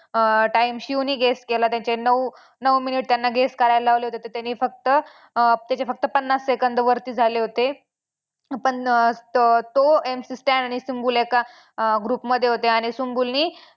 अं time शिवने guess केला त्याचे नऊ नऊ minute त्यांना guess करायला लावले होते तर त्यांनी फक्त अं त्याचे फक्त पन्नास second वरती झाले होते. पण तो MC Stan आणि सुम्बुल एका अं group मध्ये होते आणि सुम्बुलने